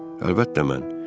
Əlbəttə mən.